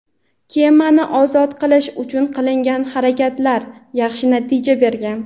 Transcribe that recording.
kemani "ozod qilish" uchun qilingan harakatlar yaxshi natija bergan.